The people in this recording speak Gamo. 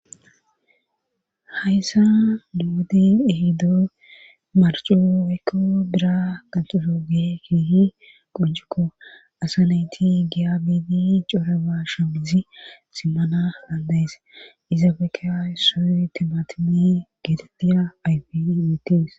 hayssa nuweden ehido marcu weekko bira qanxolooge keehi qonjukko asa nayti giabidi coraba shabizi simmana laandayes izaabeeke esso timatimi giditiya ayfi metees